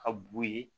Ka b'u ye